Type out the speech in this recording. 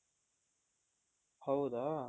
ಹೌದಾ